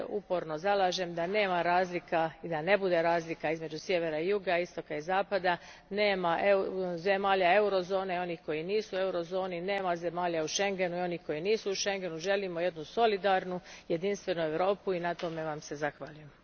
Ja se uporno zalažem da nema razlika i da ne bude razlika između Sjevera i Juga, Istoka i Zapada, nema zemalja Eurozone i onih koje nisu u Eurozoni, nema zemalja u Schengenu i onih koje nisu u Schengenu, želimo jednu solidarnu jedinstvenu Europu i na tome vam se zahvaljujem.